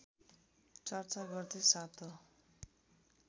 चर्चा गर्दै सातौं